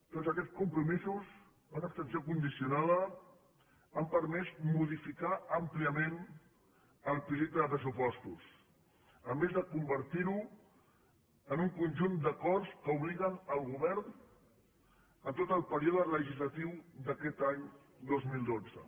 tots aquests compromisos per una abstenció condicionada han permès modificar àmpliament el projecte de pressupostos a més de convertir lo en un conjunt d’acords que obliguen el govern en tot el període legislatiu d’aquest any dos mil dotze